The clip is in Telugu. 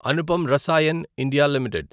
Anupam Rasayan India limited